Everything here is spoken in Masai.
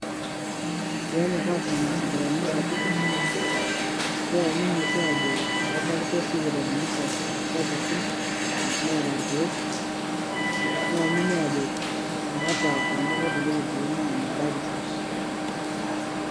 Ore peenyorraa aashom isipitalini sapukin keyamini oshi aajo kebakisho isipitalini sapukin Neeta irkiek neyamini aajo meeta Kuna kutitik irkiek naa mebakisho.